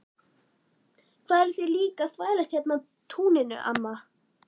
Hvað eruð þið líka að þvælast hérna á túninu amma?